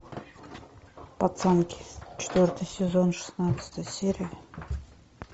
пацанки четвертый сезон шестнадцатая серия